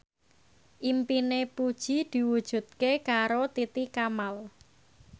impine Puji diwujudke karo Titi Kamal